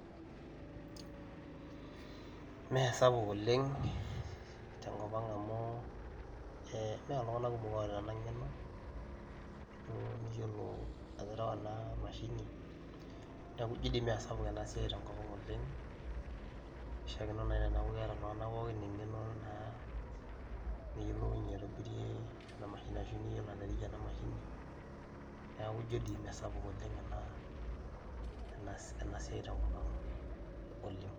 It is not big in our area because not everyone has this skill and knowledge. Maybe once people have been taught on how to use this (cz) machine then they will able to be there in our area